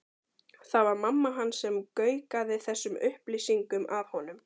Það var mamma hans sem gaukaði þessum upplýsingum að honum.